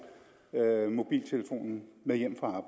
mobiltelefonen med hjem fra